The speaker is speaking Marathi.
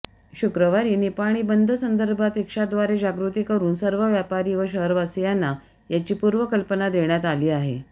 शुक्रवारी निपाणी बंदसंदर्भात रिक्षाद्वारे जागृती करून सर्व व्यापारी व शहरवासीयांना याची पूर्वकल्पना देण्यात आली आहे